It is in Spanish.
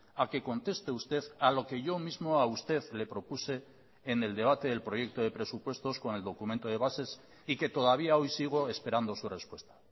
a que conteste usted a lo que yo mismo a usted le propuse en el debate del proyecto de presupuestos con el documento de bases y que todavía hoy sigo esperando su respuesta